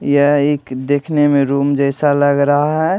यह एक देखने में रूम जैसा लग रहा है।